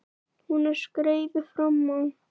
Hún er skeifu framan á.